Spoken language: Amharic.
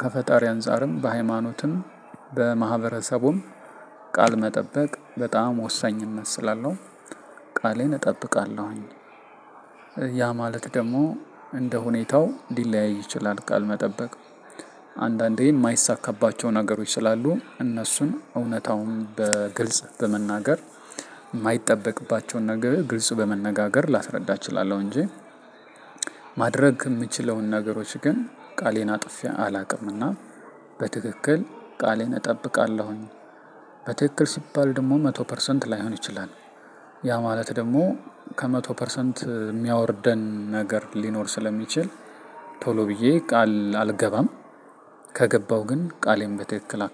ከፈጣሪ አንፃርም በሃይማኖትም በማህበረሰቡም ቃል መጠበቅ በጣም ወሳኝነት ስላለው ቃሌን እጠብቃለሁኝ። ያ ማለት ደግሞ እንደ ሁኔታው ሊለያይ ይችላል። ቃል መጠበቅ አንዳንዴ የማይሳካባቸው ነገሮች ስላሉ እነሱን እውነታውን በግልጽ በመናገር የማይጠበቅባቸውን ነገር ግልጽ በመነጋገር ላስረዳ እችላለሁ። እንጂ ማድረግ የምችለውን ነገሮች ግን ቃሌን አጥፌ አላውቅም። እና በትክክል ቃሌን እጠብቃለሁኝ። በትክክል ሲባል ደግሞ መቶ ፐርሰንት ላይሆን ይችላል። ያ ማለት ደግሞ ከመቶ ፐርሰንት የሚያወርደን ነገር ሊኖር ስለሚችል። ቶሎ ብዬ ቃል አልገባም። ከገባው ግን ቃሌን በትክክል